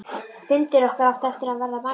Fundir okkar áttu eftir að verða margir.